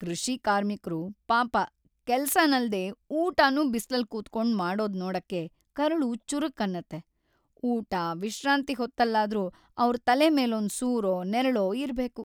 ಕೃಷಿಕಾರ್ಮಿಕ್ರು ಪಾಪ ಕೆಲ್ಸನಲ್ದೇ ಊಟನೂ ಬಿಸ್ಲಲ್ ಕೂತ್ಕೊಂಡ್‌ ಮಾಡೋದ್ನೋಡಕ್ಕೆ ಕರುಳು ಚುರುಕ್‌ ಅನ್ನತ್ತೆ. ಊಟ, ವಿಶ್ರಾಂತಿ ಹೊತ್ತಲ್ಲಾದ್ರೂ ಅವ್ರ್‌ ತಲೆ ಮೇಲೊಂದ್‌ ಸೂರೋ, ನೆರಳೋ ಇರ್ಬೇಕು.